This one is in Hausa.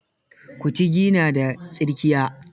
Kutigi na da tsirkiya.